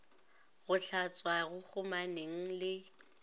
go hlatswa go kgomaneng le